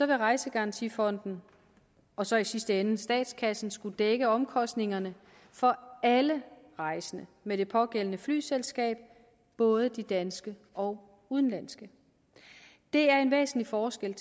vil rejsegarantifonden og så i sidste ende statskassen skulle dække omkostningerne for alle rejsende med det pågældende flyselskab både de danske og udenlandske det er en væsentlig forskel